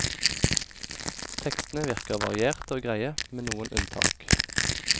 Tekstene virker varierte og greie, med noen unntak.